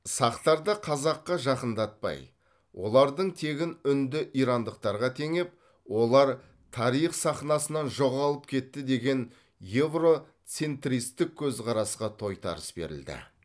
сақтарды қазаққа жақындатпай олардың тегін үнді ирандықтарға теңеп олар тарих сахнасынан жоғалып кетті деген еуроцентристік көзқарасқа тойтарыс берілді